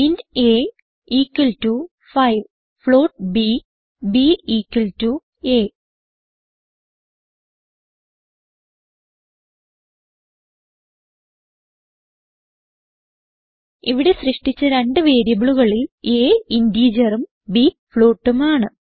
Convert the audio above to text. int a equal to 5 float b b equal to a ഇവിടെ സൃഷ്ടിച്ച രണ്ട് വേരിയബിളുകളിൽ അ ഇന്റിജറും ബ് floatഉം ആണ്